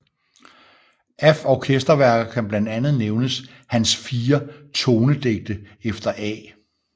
Af orkesterværker kan blandt andet nævnes hans Fire Tonedigte efter A